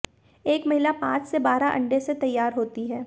एक महिला पांच से बारह अंडे से तैयार होती है